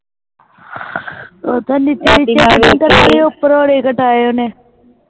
ਉਪਰ ਆਲੇ ਕਟਾਏ ਓਹਨੇ